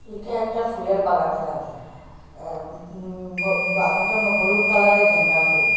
এটা একটা ফুলের বাগান দেখা যায় এম উম ভো বাগানটামো হলুদ কালারের গেন্দা ফুল।